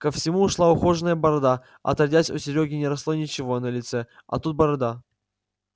ко всему шла ухоженная борода отродясь у серёги не росло ничего на лице а тут борода